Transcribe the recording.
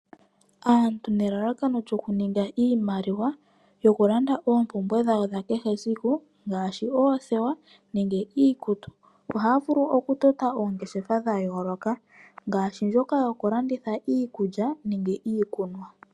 Aantu nelalakano lyoku ninga iimaliwa yoku landa oompumbwe dhawo dhakehe siku. Dhoku landa oothewa nenge iikutu. Oha vulu oku tota oongeshefa dhayoloka ngaashi ndjoka yoku landitha iikulya nenge iikunwa.